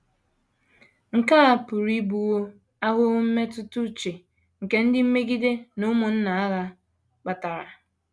Nke a pụrụ ịbụwo ahụhụ mmetụta uche nke ndị mmegide na “ ụmụnna ụgha ” kpatara.